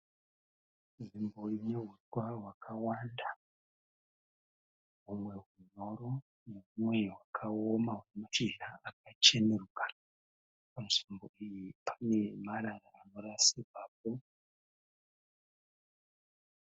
Nzvimbo ine huswa hwakanda. Humwe hunyoro nehumwe hwakaoma hune mashizha akachenuruka. Panzvimbo iyi pane marara anorasirwapo.